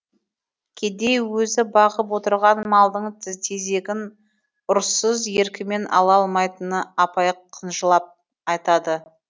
кедей өзі бағып отырған малдың тезегін ұрыссыз еркімен ала алмайтынын абай қынжылып айтады